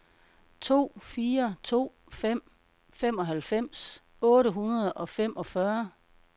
to fire to fem femoghalvfems otte hundrede og femogfyrre